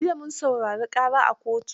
Jiya mun saurari ƙara a kotu.